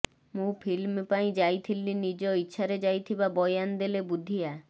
ମୁଁ ଫିଲ୍ମ ପାଇଁ ଯାଇଥିଲି ନିଜ ଇଚ୍ଛାରେ ଯାଇଥିବା ବୟାନ ଦେଲେ ବୁଦ୍ଧିଆ